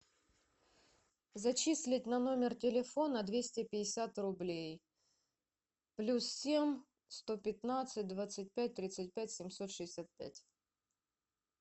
зачислить на номер телефона двести пятьдесят рублей плюс семь сто пятнадцать двадцать пять тридцать пять семьсот шестьдесят пять